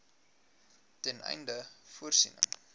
ten einde voorsiening